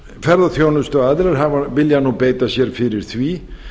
ferðaþjónustuaðilar vilja nú beita sér fyrir því